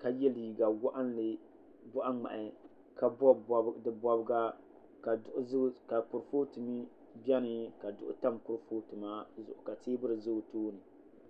ka yɛ liiga waɣanli boɣa ŋmahi ka bob di bobga ka kurifooti bɛni ka duɣu tam kurifooti maa zuɣu ka teebuli ʒɛ o tooni